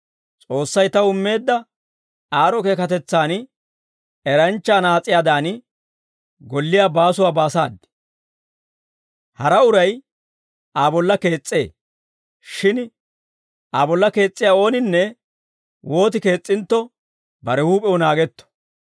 S'oossay taw immeedda aad'd'o keekatetsaan eranchcha anaas'iyaadan, golliyaa baasuwaa baasaad. Hara uray Aa bolla kees's'ee. Shin Aa bolla kees's'iyaa ooninne wooti kees's'intto, bare huup'ew naagetto.